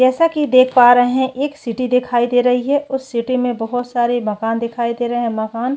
जैसा कि देख पा रहै है एक सिटी दिखाई दे रही है उस सिटी में बहोत सारे मकान दिखाई दे रहै मकान --